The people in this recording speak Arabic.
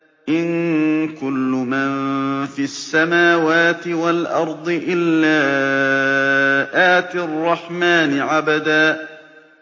إِن كُلُّ مَن فِي السَّمَاوَاتِ وَالْأَرْضِ إِلَّا آتِي الرَّحْمَٰنِ عَبْدًا